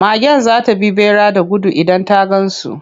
Magen za ta bi ɓera da gudu idan ta gan su.